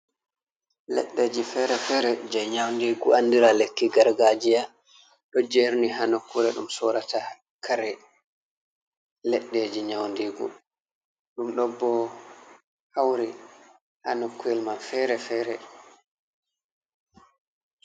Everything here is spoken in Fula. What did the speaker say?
Leɗɗeji fere-fere je nyaundigu, andira lekki gargajiya. Ɗo jerni haa nukkure ɗum sorata kare leɗɗeji nyaundigu. Ɗum ɗo bo hauri ha nokkuwel man fere-fere.